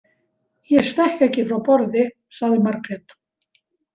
Ég stekk ekki frá borði, sagði Margrét.